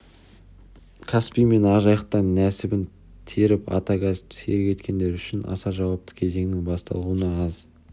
каспий мен ақ жайықтан нәсібін теріп ата кәсіпті серік еткендер үшін аса жауапты кезеңнің басталуына аз